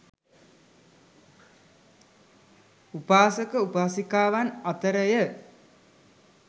උපාසක උපාසිකාවන් අතර ය.